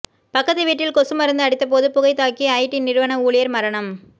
பக்கத்து வீட்டில் கொசு மருந்து அடித்தபோது புகை தாக்கி ஐடி நிறுவன ஊழியர் மரணம்